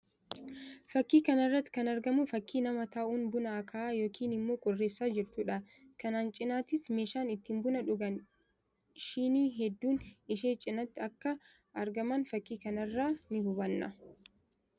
Fakkii kana irratti kan argamu fakkii nama taa'uun buna aka'aa yookiin immoo qoreessaa jirtuu dha. Kanaan cinattis meeshaan ittiin buna dhugan shinii hedduun ishee cinatti akka ragaman fakkii kana irraa ni hubanna.